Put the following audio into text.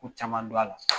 Ko caman don a la